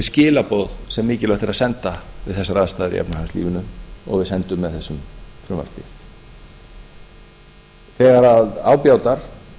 skilaboð sem mikilvægt er að senda við þessar aðstæður í efnahagslífinu og við sendum með þessu frumvarpi þegar á bjátar